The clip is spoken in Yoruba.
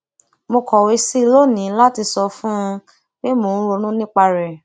mo kọwé sí i lónìí láti sọ fún un pé mo ń ronú nípa rè